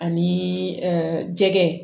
Ani jɛgɛ